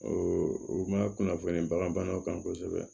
u ma kunnafoni bagan banaw kan kosɛbɛ